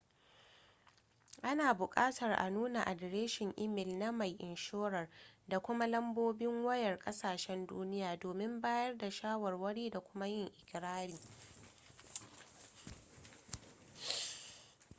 suna bukatar a nuna adireshin imel na mai inshorar da kuma lambobin wayar kasahsen duniya domin bayar da shawarwari da kuma yin ikirari